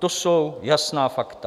To jsou jasná fakta.